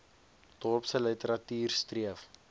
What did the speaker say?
dorpse literatuur streef